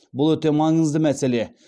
бұл өте маңызды мәселе